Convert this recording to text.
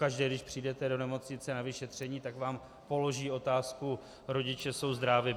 Pokaždé, když přijdete do nemocnice na vyšetření, tak vám položí otázku: Rodiče jsou zdrávi?